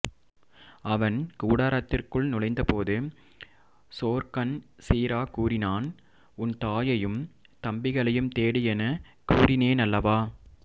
அவன் கூடாரத்திற்குள் நுழைந்தபோது சோர்கன் சீரா கூறினான் உன் தாயையும் தம்பிகளையும் தேடு எனக் கூறினேனல்லவா